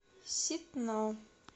ситно